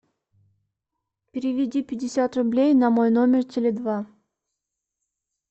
переведи пятьдесят рублей на мой номер теле два